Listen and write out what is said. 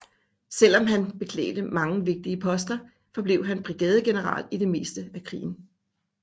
Selv om han beklædte mange vigtige poster forblev han brigadegeneral i det meste af krigen